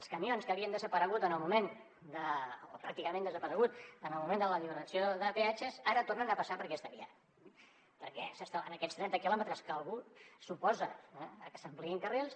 els camions que havien desaparegut o pràcticament desaparegut en el moment de l’alliberació de peatges ara tornen a passar per aquesta via perquè en aquests trenta quilòmetres que algú s’oposa a que s’hi ampliïn carrils